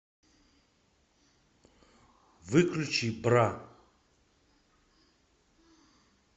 выключи бра